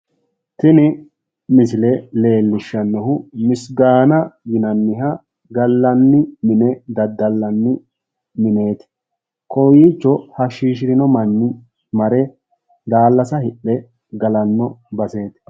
tini misile leellishshannohu misigaana yinanniha gallanni mine daddallanni mineeti, kowiicho hashiishshirino manni mare daallasa hidhe galanno baseeti